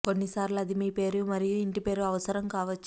కొన్నిసార్లు అది మీ పేరు మరియు ఇంటి పేరు అవసరం కావచ్చు